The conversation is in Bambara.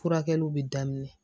Furakɛliw bɛ daminɛ